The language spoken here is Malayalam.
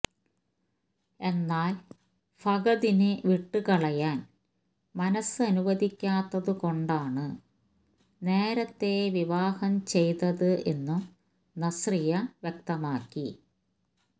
എന്നാല് ഫഹദിനെ വിട്ട് കളയാന് മനസ് അനുവദിക്കാത്തതുകൊണ്ടാണ് നേരത്തെ വിവാഹം ചെയ്തത് എന്നും നസ്രിയ വ്യക്തമാക്കി